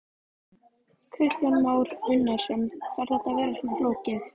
Kristján Már Unnarsson: Þarf þetta að vera svona flókið?